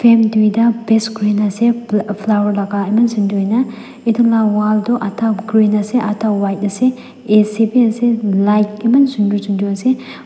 frame duita paste kurina ase flower laga eman sundur huina itula wall toh adah green ase adah white ase A_C bi ase light eman sundur sundur ase--